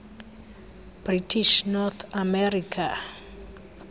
british north america